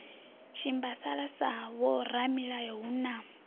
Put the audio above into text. shimbasala sa vhoramilayo hu na